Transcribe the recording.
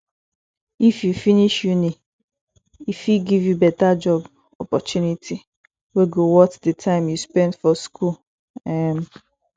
if u finish uni e fit give you beta job opportunity wey go worth di time u spend for school um